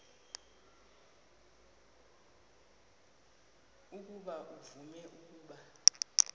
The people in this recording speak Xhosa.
ukuba uvume ukuba